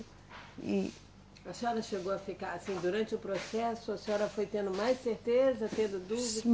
E. A senhora chegou a ficar, assim, durante o processo, a senhora foi tendo mais certeza, tendo dúvidas?